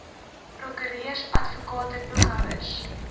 prokureurs advokate boekhouers